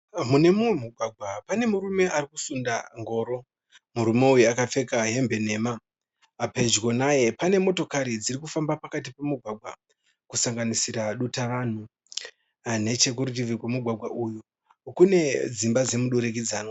Mune mumwe mugwagwa pane murume arikusunda ngoro. Murume uyu akapfeka hembe nhema. Pedyo naye pane motokari dzirikufamba pakati pomugwagwa kusanganisira dutavanhu. Nechekurutivi kwemugwagwa uyu kune dzimba dzomudurikidzanwa.